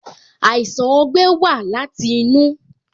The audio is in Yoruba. Àìsàn ogbẹ́ wa láti inú